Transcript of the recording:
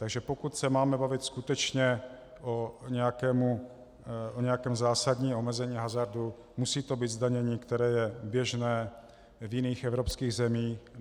Takže pokud se máme bavit skutečně o nějakém zásadním omezení hazardu, musí to být zdanění, které je běžné v jiných evropských zemích.